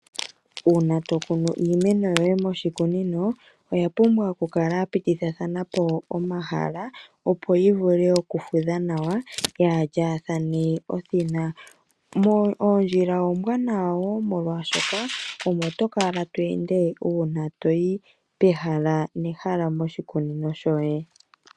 Uuna to kunu iimeno yoye moshikunino oya pumbwa oku kala yapitithithana po omahala, opo yi vule oku fudha nawa yaalyaathane othina, moondjila ombwaanawa molwaashoka omo to kala to ende uuna toyi pehala nehala moshikunino shoye.